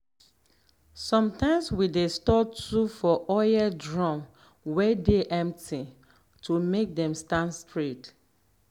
sometimeswe dey store tool for oil drum way dey empty to make dem stand straight.